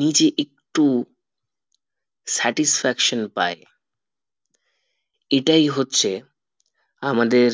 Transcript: নিজে একটু satisfaction পাই এটাই হচ্ছে আমাদের